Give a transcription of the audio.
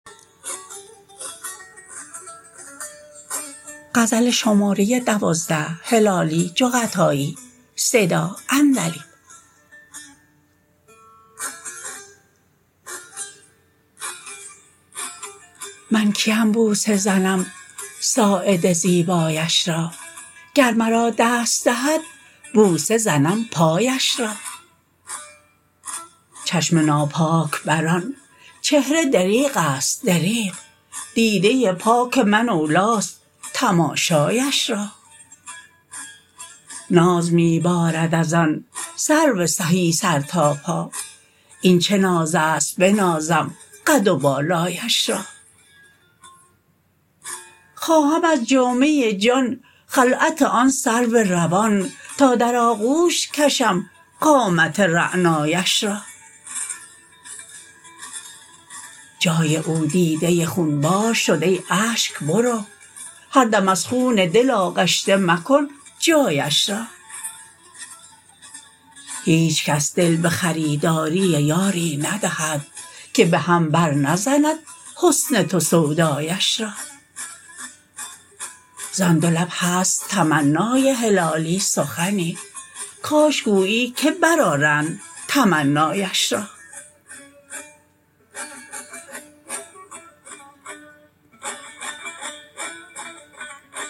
من کیم بوسه زنم ساعد زیبایش را گر مرا دست دهد بوسه زنم پایش را چشم ناپاک بر آنچهره دریغست دریغ دیده پاک من اولیست تماشایش را ناز میبارد از آن سرو سهی سر تا پا این چه نازست بنازم قد و بالایش را خواهم از جامه جان خلعت آن سرو روان تا در آغوش کشم قامت رعنایش را جای او دیده خونبار شد ای اشک برو هر دم از خون دل آغشته مکن جایش را هیچ کس دل بخریداری یاری ندهد که بهم بر نزند حسن تو سودایش را زان دو لب هست تمنای هلالی سخنی کاش گویی که بر آرند تمنایش را